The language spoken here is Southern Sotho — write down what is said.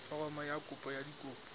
foromo ya kopo ka dikopi